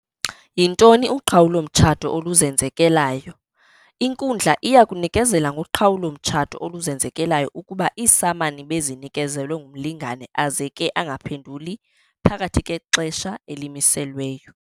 Yintoni uqhawulo-mtshato oluzenzekelayo? Inkundla iyakunikezela ngoqhawulo-mtshato oluzenzekelayo ukuba iisamani bezinikezelwe kumlingane aze ke angaphenduli phakathi kwexesha elimiselweyo.